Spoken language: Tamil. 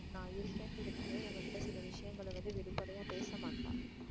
நா இருக்கேன்ரதுனாலயே உங்ககிட்ட ஒரு சில விஷயங்கள வந்து வெளிபடையா பேசமாட்டா.